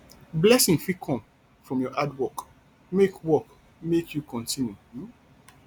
blessing fit come from your hard work make work make you continue um